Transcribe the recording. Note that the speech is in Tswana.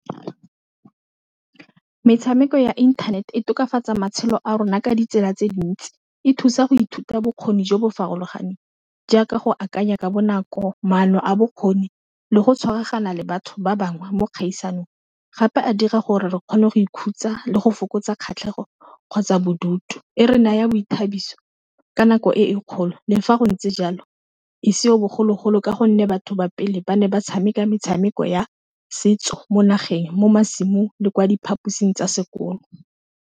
Metshameko ya internet-e tokafatsa matshelo a rona ka ditsela tse dintsi, e thusa go ithuta bokgoni jo bo farologaneng jaaka go akanya ka bonako, maano a bokgoni, le go tshwaragana le batho ba bangwe mo dikgaisanong, gape a dira gore re kgone go ikhutsa le go fokotsa kgatlhego kgotsa bodutu e re naya boithabiso ka nako e e kgolo le fa go ntse jalo e seng bogologolo ka gonne batho ba pele ba ne ba tshameka metshameko ya setso mo nageng mo masimong le kwa diphaposing tsa sekolo.